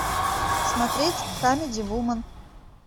смотреть камеди вумен